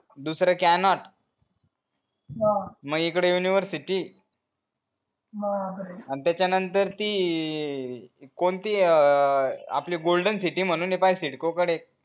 दुसरा मग इकडे university आणि त्याचा नंतर ती कोणती अ आपली golden city म्हणून आहे पाहाय CIDCO कडे